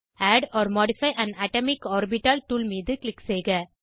add or modify an atomic orbital tool மீது click செய்க